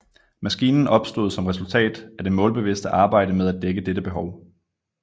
Maskinen opstod som resultat af det målbevidste arbejde med at dække dette behov